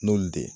N'olu de ye